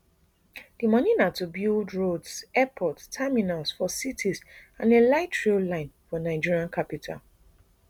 di money na to help build roads airport terminals for cities and a lightrail line for nigeria capital